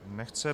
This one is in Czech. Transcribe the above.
Nechce.